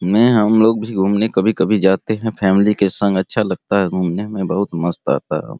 में हमलोग भी घूमने कभी-कभी जाते है फैमिली के संग अच्छा लगता है घूमने मे बहुत मस्त आता है।